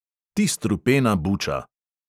"Ti strupena buča!"